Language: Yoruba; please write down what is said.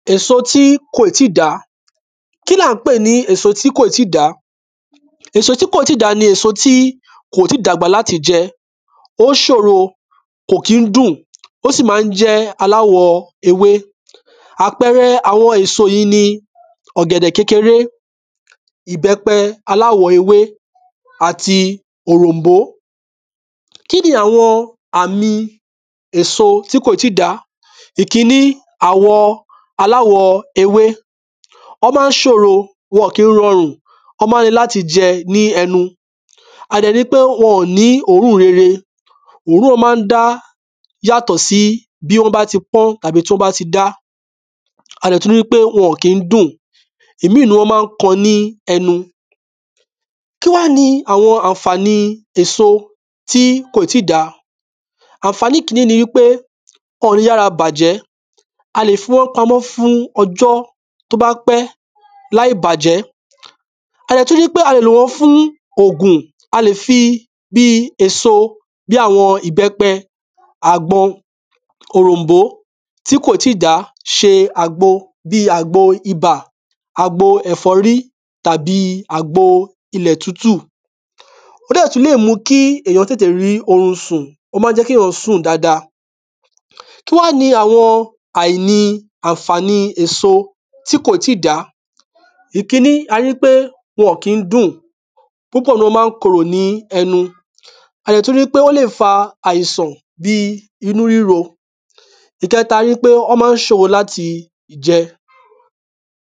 Èso tí kò ì tíì dá. Kí l’a ń pè ní èso tí kò ì tíì dá? Èso tí kò ì tíì dá ni èso tí kó tíì dàgbà l’áti jẹ. Ó ṣòro. Kò kí ń dùn. Ó sì má ń jẹ́ aláwọ ewé. Àpẹrẹ awọn èso yí ni ọ̀gẹ̀dẹ̀ kékeré ìbẹ́pẹ aláwo ewé àti òròmbó. Kí ni àwọn èso tí kò tí dá Ìkiní, àwọ aláwọ ewé. Ọ́ má ń ṣòro. Wọn kí ń rọrùn. Ọ́ má ń le l’áti jẹ ni ẹnu. A dẹ̀ ri pe wọn ò ní òórùn rere. Òórùn wọn má ń dá yàtọ̀ sí bí wọ́n bá ti pọ́n tàbí tí wọ́n bá ti dá. A dẹ̀ tú ri pe wọn ò kí ń dùn. Ìmíì ‘nú wọn má ń kan ní ẹnu. Kí wá ni àwọn àǹfàni èso tí kò ì tí dàá? Àǹfànì kiní ni wí pé ọ̀ ní yára bàjẹ́. A lè fi wọ́n pamọ́ fún ọjọ́ t’ó bá pẹ́ láì bàjẹ́. A dẹ̀ tú ri pe a lè lò wọ́n fún ògùn. A lè fi bí èso, bí àwọn ìbẹ́pẹ, àgbọn, òròmbó tí kò tí dá ṣe àgbo. Bíi àgbo ibà, àgbo ẹ`fọ́rí tàbí àgbo ilẹ̀ tutù. Ọ́ dẹ̀ tú lè mú kí èyàn tètè rí orun sùn. Ó má ń jẹ́ kí sùn dada. Kí wá ni àìní àǹfàni èso tí kò ì tí dàá? Ìkíní, a rí ń pé wọn ọ̀ kí ń dùn. Púpọ̀ ‘nú wọn má ń korò ní ẹnu. A dẹ̀ tú ri pe wọ́n lè fa àìsàn bi inú ríro. Ìkẹta ni wí pé wọ́n má ń ṣòro l’áti jẹ.